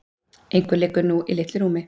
Einhverjum liggur eitthvað í litlu rúmi